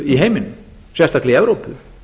í heiminum sérstaklega í evrópu